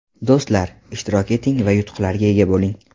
Do‘stlar, ishtirok eting va yutuqlarga ega bo‘ling.